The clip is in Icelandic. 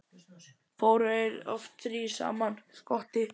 Fóru þeir oft þrír saman: Skotti